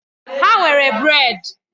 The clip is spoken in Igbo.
Ha nwere brèd.